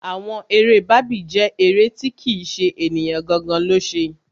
Àwọn eré Barbie jẹ́ eré tí kì ṣe ènìyàn gangan lo ṣe.